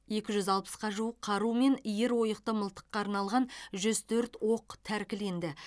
екі жүз алпысқа жуық қару мен иір ойықты мылтыққа арналған жүз төрт оқ тәркіленді